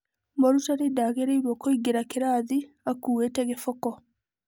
Mũrutani ndagĩrĩirwo kũingĩra kĩrathi akuĩte gĩboko.